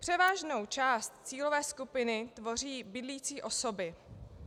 Převážnou část cílové skupiny tvoří bydlící osoby.